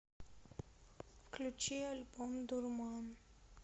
включи альбом дурман